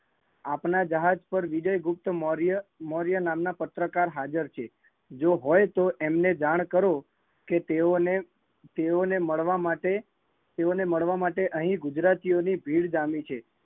આપણા જહાજ પર વિજયગુપ્તમૌર્ય નામ ના પત્રકાર હાજર છે જો હોય તો એમને જાણ કરો, એમને મળવા માટે અહીં ગુજરાતીઓ ની ભીડ જામી છે